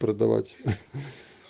продавать ха